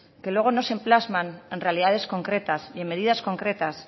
que luego no se plasman en realidades concretas ni en medidas concretas